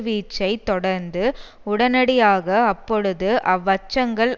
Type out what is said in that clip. வீச்சைத் தொடர்ந்து உடனடியாக அப்பொழுது அவ்வச்சங்கள்